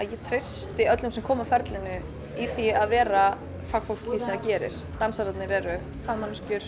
ég treysti öllum sem koma að ferlinu í því að vera fagfólk í því sem það gerir dansararnir eru